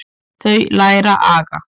Þau læra aga.